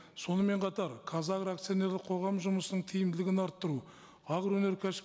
сонымен қатар казагро акционерлік қоғамы жұмысының тиімдлігін арттыру агроөнеркәсіп